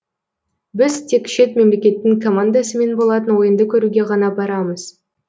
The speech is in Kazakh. біз тек шет мемлекеттің командасымен болатын ойынды көруге ғана барамыз